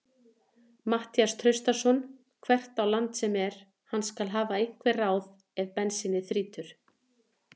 Matthías Traustason hvert á land sem er, hann skal hafa einhver ráð ef bensínið þrýtur.